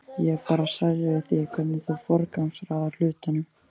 Ég er bara særð yfir því hvernig þú forgangsraðar hlutunum.